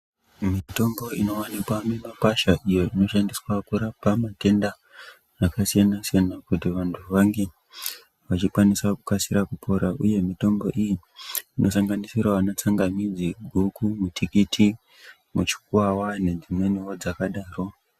Mitombo inovanika mumakwasha iyo inoshandiswa kurapa matenda akasiyana-siyana. Kuti vantu vange vachikwanisa kukasira kupora, uye mitombo iyi inosanganisiravo vana tsangamidzi, guku, mutikiti, mushwava nedzimwenivo dzakadaro.